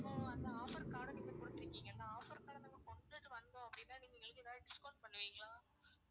அப்போ அந்த offer card அ நீங்க குடுத்திருக்கீங்க அந்த offer card அ நாங்க கொண்டுட்டு வந்தோம் அப்படின்னா நீங்க மீதி எதாவது discount பண்ணுவிங்களா?